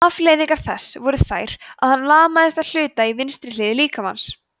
afleiðingar þess voru þær að hann lamaðist að hluta í vinstri hlið líkamans